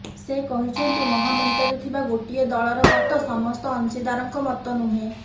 ସେ କହିଛନ୍ତି ମହାମେଣ୍ଟରେ ଥିବା ଗୋଟିଏ ଦଳର ମତ ସମସ୍ତ ଅଂଶୀଦାରଙ୍କ ମତନୁହେଁ